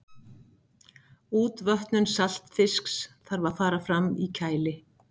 útvötnun saltfisks þarf að fara fram í kæli